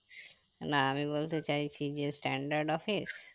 আমি বলতে চাইছি যে standard office